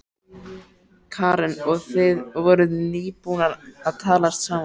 Karen: Og þið voruð nýbúnir að talast saman?